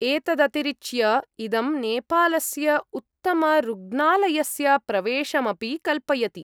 एतदतिरिच्य, इदं नेपालस्य उत्तमरुग्णालयस्य प्रवेशमपि कल्पयति।